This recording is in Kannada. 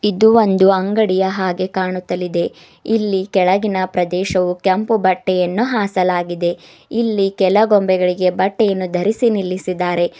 ಇದು ಒಂದು ಅಂಗಡಿಯ ಹಾಗೆ ಕಾಣುತ್ತಲಿದೆ ಇಲ್ಲಿ ಕೆಳಗಿನ ಪ್ರದೇಶವು ಕೆಂಪು ಬಟ್ಟೆಯನ್ನು ಹಾಸಲಾಗಿದೆ ಇಲ್ಲಿ ಕೆಲ ಗೊಂಬೆಗಳಿಗೆ ಬಟ್ಟೆಯನ್ನು ಧರಿಸಿ ನಿಲ್ಲಿಸಿದ್ದಾರೆ.